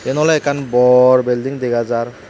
eyan oley ekkan bor bilding dega jaar.